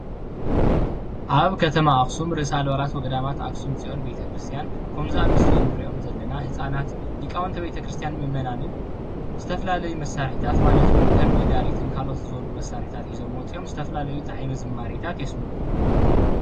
ኣብ ከተማ ኣክሱም ርእሰ ኣድባራት ወገዳማት ኣክሱም ፅዮን ቤተ ክርስትያን ከምዚ ኣብ ምስሊ እንርእዮም ዘለና ህፃናት፣ ሊቃውንቲ ቤተ ክርሰትያን ምእመናንን ዝተፈላለዩ መሳርሕታት ማለት እውን ከም ነጋሪትን ካልኦት ዝበሉ መሳርሐታትን ሒዞም ወፂኦም ዝተፈላለዩ ዓይነተ ጣዕመ ዝማሬታት የስምዑ።